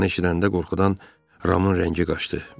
Bunu eşidəndə qorxudan Ramın rəngi qaçdı.